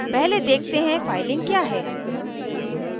पहले देखते हैं फाइलिंग क्या है